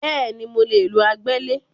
Bẹ́ẹ̀ni, mo lè lo agbẹ́lẹ̀